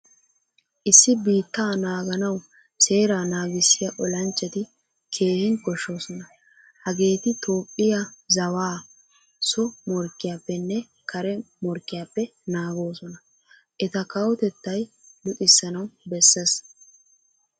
Issi biittaa naaganawu seeraa naagissiyaa ollanchchatti keehin koshshosona. Hageetti toophphiyaa zawaa so morkkiyaappenne kare morkkiyappe naagoosona. Etta kawotettay luxissanawu besees.